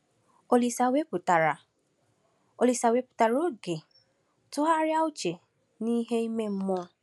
Olise wepụtara Olise wepụtara oge tụgharịa uche n’ihe ime mmụọ.